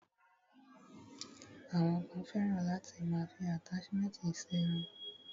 Àwọn kan fẹ́ràn láti máa fi àtáṣmẹ̀ntì ṣe irun.